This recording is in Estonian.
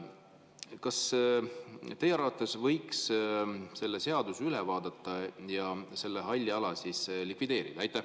Kas teie arvates võiks selle seaduse üle vaadata ja selle halli ala likvideerida?